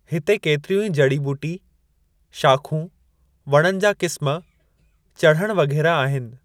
हिते केतिरियूं ई जुड़ी ॿूटी, शाख़ूं, वणनि जा क़िस्मु, चढ़णु वग़ेरह आहिनि।